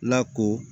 Lako